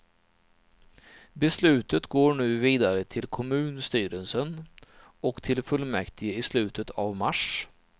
Beslutet går nu vidare till kummunstyrelsen, och till fullmäktige i slutet av mars.